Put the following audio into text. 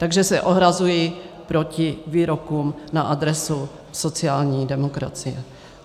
Takže se ohrazuji proti výrokům na adresu sociální demokracie.